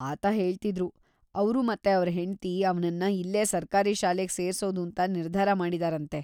ಆತ ಹೇಳ್ತಿದ್ರು, ಅವ್ರು ಮತ್ತೆ ಅವ್ರ್‌ ಹೆಂಡ್ತಿ ಅವ್ನನ್ನ ಇಲ್ಲೇ ಸರ್ಕಾರಿ ಶಾಲೆಗೆ ಸೇರ್ಸೋದೂಂತ ನಿರ್ಧಾರ ಮಾಡಿದಾರಂತೆ.